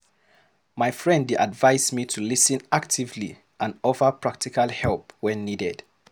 My friend dey advise me to lis ten actively and offer practical help when needed.